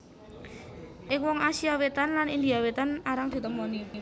Ing wong Asia Wétan lan India Wétan arang ditemoni